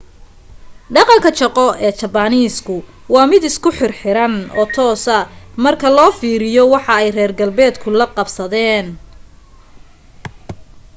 dhaqanka shaqo ee jabaniiska waa mid isku xir xiran oo toosa marka loo fiiriyo waxa ay reer galbeedka la qabsadeen